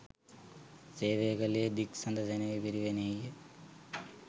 සේවය කළේ දික්සඳ සෙනෙවි පිරිවෙනෙහිය.